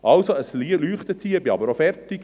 Also, es leuchtet hier, ich bin aber auch fertig.